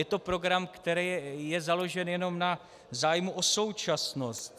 Je to program, který je založen jenom na zájmu o současnost.